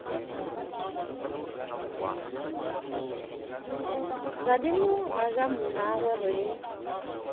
radimo ga ja mmagwe re